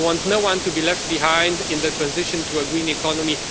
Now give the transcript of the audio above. We want no one to be left behind in the transition to a green economy.